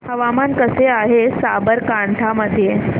हवामान कसे आहे साबरकांठा मध्ये